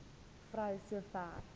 vrou so ver